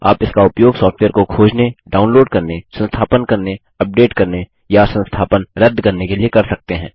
आप इसका उपयोग सॉफ्टवेयर को खोजने डाइनलोड करने संस्थापन करने अपडेट करने या संस्थापन रद्द करने के लिए कर सकते हैं